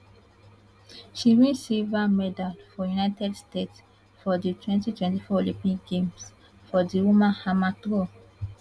she win silver medal for united states for di 2024 olympic games for di women hammer throw